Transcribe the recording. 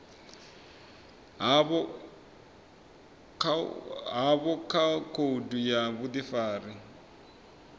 havho kha khoudu ya vhudifari